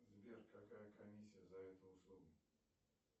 сбер какая комиссия за эту услугу